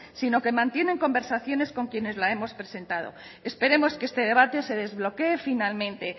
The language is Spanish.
sino que mantienen conversiones con quienes la hemos presentado esperemos que este debate se desbloque finalmente